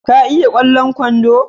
Ka iya kwallon kwando?